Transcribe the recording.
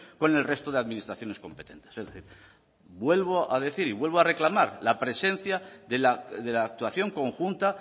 con el resto de administraciones competentes es decir vuelvo a decir y vuelvo a reclamar la presencia de la actuación conjunta